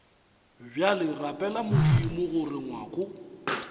bjale rapela modimo gore ngwako